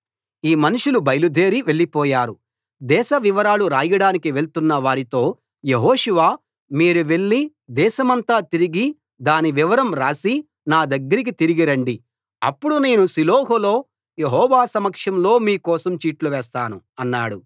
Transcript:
ఆ మనుషులు బయలుదేరి వెళ్ళిపోయారు దేశ వివరాలు రాయడానికి వెళ్తున్న వారితో యెహోషువ మీరు వెళ్లి దేశమంతా తిరిగి దాని వివరం రాసి నా దగ్గరికి తిరిగి రండి అప్పుడు నేను షిలోహులో యెహోవా సమక్షంలో మీకోసం చీట్లు వేస్తాను అన్నాడు